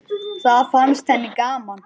Það fannst henni gaman.